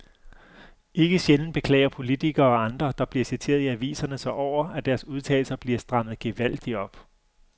Ikke sjældent beklager politikere og andre, der bliver citeret i aviserne sig over, at deres udtalelser bliver strammet gevaldigt op.